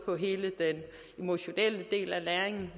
med hele den emotionelle del af læringen